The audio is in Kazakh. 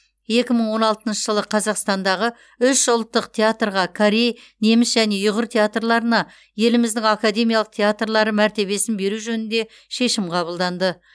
екі мың он алтыншы жылы қазақстандағы үш ұлттық театрға корей неміс және ұйғыр театрларына еліміздің академиялық театрлары мәртебесін беру жөнінде шешім қабылданды